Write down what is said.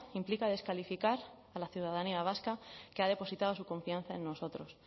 implica descalificar a la ciudadanía vasca que ha depositado su confianza en nosotros